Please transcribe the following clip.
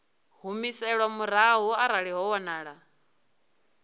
humiselwa murahu arali ho wanala